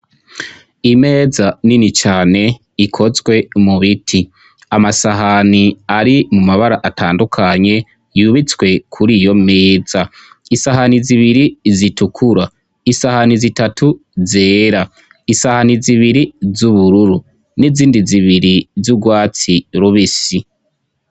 Imeza nini cane ikozwe mubiti, amasahani ari mumabara atandukanye yubitswe kur'iyomeza, isahani zibiri zitukura isahani, isahani zitatu zera, isahani zibiri z'ubururu n'izindi zibiri z'urwatsi rubisi.